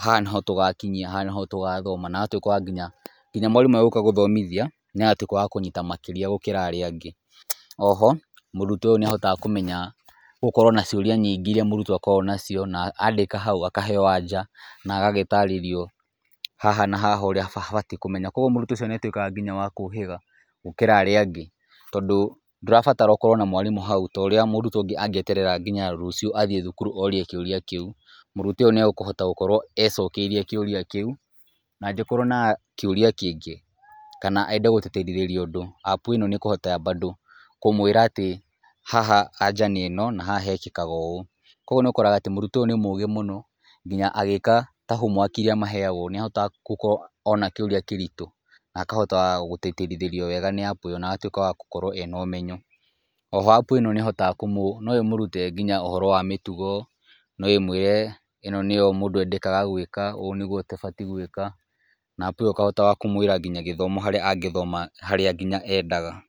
haha nĩho tũgakinyia, haha nĩ ho tũgathoma na agatwĩka nginya mwarimũ agĩũka gũthomithia, nĩ agatuĩka wa kũnyita makĩria gũkĩra arĩa angĩ. Oho, mũrutwo ũyũ nĩ ahotaga kũmenya gũkorwo na ciũria nyingĩ iria mũrutwo akoragwo nacio na andĩka hau akaheo anja na agagĩtarĩrio haha na haha ũrĩa abatiĩ kũmenya. Kũguo mũrutwo ũcio nĩ atuĩkaga nginya wa kũhĩga gũkĩra arĩa angĩ, tondũ ndũrabatara ũkorwo na mwarimũ hau ta ũrĩa mũrutwo ũngĩ angĩeterera nginya rũcio athiĩ thukuru orie kĩũria kĩu. Mũrutwo ũyũ nĩ egũkĩhota gũkorwo ecokeirie kĩũria kĩu na angĩkorwo na kĩũria kĩngĩ ka ande gũteterithia ũndu App ĩno nĩ ĩkũhota bado kũmwĩra atĩ haha anja nĩ ĩno na haha hekĩkaga ũũ. Kũguo nĩ ũkoraga atĩ mũrutwo ũyũ nĩ mũgĩ mũno nginya agíĩka ta homework iria maheagwo nĩ ahotaga gũkorwo ona kĩũria kĩrĩtũ, akahota gũteterithĩrio wega nĩ App ĩyo na agatũĩka wa gũkorwo ena ũmenyo. Oho App ĩno no ĩmũrute nginya ũhoro wa mĩtugo, no ĩmwire ĩno nĩyo mũndũ endekaga gwĩka, ũũ nĩ gũo ũtabatiĩ gũĩka, na App ĩyo ĩkahotaga kũmwĩra nginya gĩthomo harĩa angĩthoma harĩa nginya endaga.